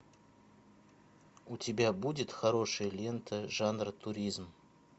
у тебя будет хорошая лента жанра туризм